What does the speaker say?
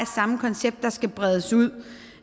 samme koncept der skal bredes ud